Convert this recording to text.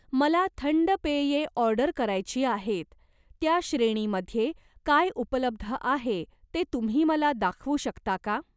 मला थंड पेये ऑर्डर करायची आहेत, त्या श्रेणीमध्ये काय उपलब्ध आहे ते तुम्ही मला दाखवू शकता का?